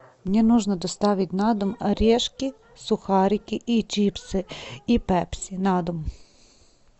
мне нужно доставить на дом орешки сухарики и чипсы и пепси на дом